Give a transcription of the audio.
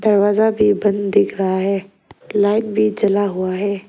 दरवाजा भी बंद दिख रहा है लाइट भी जला हुआ है।